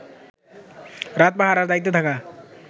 রাত পাহারার দায়িত্বে থাকা